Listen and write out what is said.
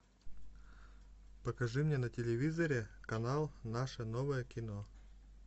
покажи мне на телевизоре канал наше новое кино